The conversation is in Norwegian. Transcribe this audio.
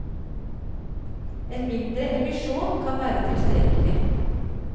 En mindre emisjon kan være tilstrekkelig.